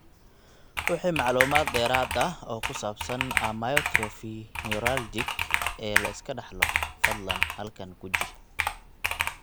Wixii macluumaad dheeraad ah oo ku saabsan amyotrophy neuralgic ee la iska dhaxlo, fadlan halkan guji.